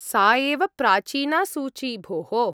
सा एव प्राचीना सूची, भोः।